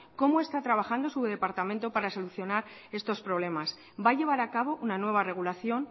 cómo está trabajando su departamento para soluciones estos problemas va a llevar a cabo una nueva regulación